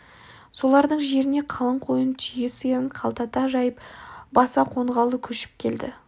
солардың жеріне қалың қойын түйе сиырын қаптата жайып баса қонғалы көшіп келді